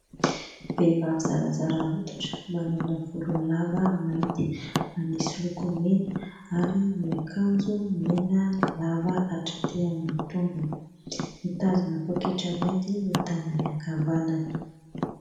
Vehivavy zarazara hoditra, manana volo lava mainty, manisy loko mena ary miakanjo mena lava atraty amin'ny tongony. Mitazona poketra mainty ny tanany ankavanana.